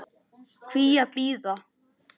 Hví að bíða?